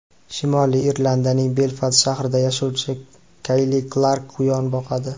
Shimoliy Irlandiyaning Belfast shahrida yashovchi Kayli Klark quyon boqadi.